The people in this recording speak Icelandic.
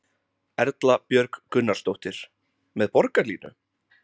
Erla Björg Gunnarsdóttir: Með Borgarlínu?